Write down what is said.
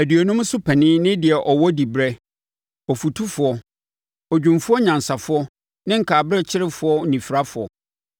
aduonum so panin ne deɛ ɔwɔ diberɛ, ɔfotufoɔ, odwumfoɔ nyansafoɔ ne nkaberɛkyerefoɔ oniferefoɔ.